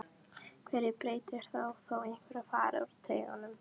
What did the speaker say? Hverju breytir það þó einhver fari úr treyjunni?